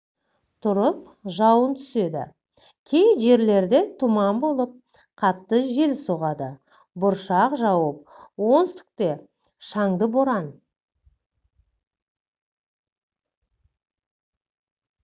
тұрып жауын түседі кей жерлерде тұман болып қатты жел соғады бұршақ жауып оңтүстіките шаңды боран